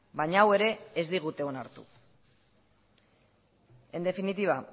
baina hau ere ez digute onartu en definitiva